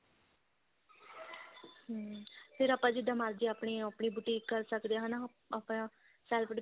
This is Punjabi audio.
ਹਮ ਫੇਰ ਆਪਾਂ ਜਿੱਦਾਂ ਮਰਜੀ ਆਪਣੀ ਆਪਣੀ boutique ਕਰ ਸਕਦੇ ਆ ਹਨਾ ਆਪਣਾ self